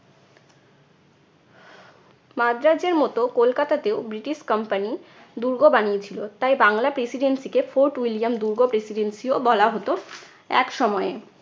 মাদ্রাজের মতো কলকাতাতেও British company দুর্গ বানিয়েছিল। তাই বাংলা presidency কে fort william দুর্গ presidency ও বলা হতো একসময়ে।